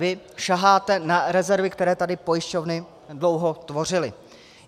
Vy saháte na rezervy, které tady pojišťovny dlouho tvořily.